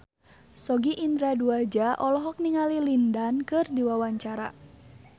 Sogi Indra Duaja olohok ningali Lin Dan keur diwawancara